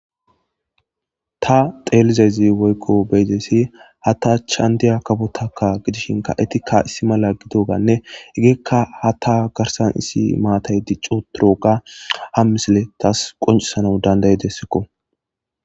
Ta xelizaysi woyko beyizaysi ha ta achani diya kafotaka gidishinka etika issi mala gidoganne hegeyka hata garsani issi matiy dici utidoga ha misiley tasi qoncisanaw dand'idesk